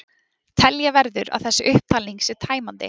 Telja verður að þessi upptalning sé tæmandi.